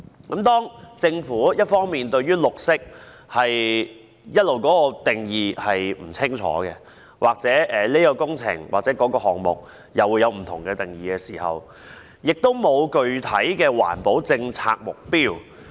一方面，政府一直對"綠色"定義不清，對不同項目有不同準則，亦沒有制訂具體的環保政策目標。